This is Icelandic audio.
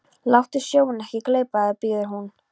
Láttu sjóinn ekki gleypa þig, biður hún.